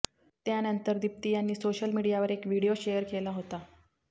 त्यानंतर दिप्ती यांनी सोशल मीडियावर एक व्हीडिओ शेअर केला होता